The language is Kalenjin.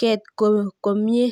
ket komie